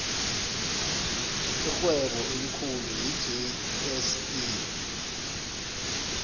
irhwebo elikhulu yi jse